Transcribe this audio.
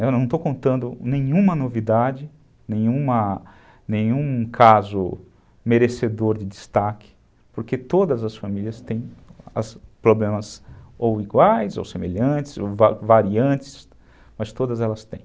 Eu não estou contando nenhuma novidade, nenhuma, nenhum caso merecedor de destaque, porque todas as famílias têm problemas ou iguais, ou semelhantes, ou variantes, mas todas elas têm.